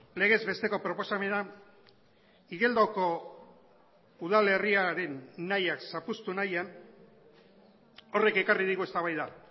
legez besteko proposamena igeldoko udalerriaren nahiak zapuztu nahian horrek ekarri digu eztabaida